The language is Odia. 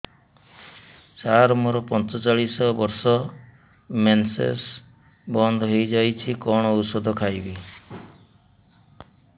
ସାର ମୋର ପଞ୍ଚଚାଳିଶି ବର୍ଷ ମେନ୍ସେସ ବନ୍ଦ ହେଇଯାଇଛି କଣ ଓଷଦ ଖାଇବି